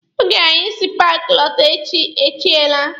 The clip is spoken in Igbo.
Oge anyị si na paaki lọta, chi ejiela.